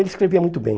Ele escrevia muito bem.